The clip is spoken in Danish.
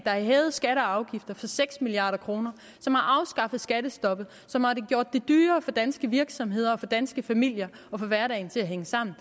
har hævet skatter og afgifter for seks milliard kr som har afskaffet skattestoppet og som har gjort det dyrere for danske virksomheder og dyrere for danske familier at få hverdagen til at hænge sammen